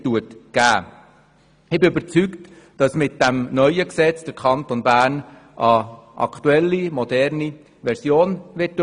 Ich bin überzeugt, dass der Kanton Bern mit dem neuen Gesetz eine aktuelle, moderne Version erhält.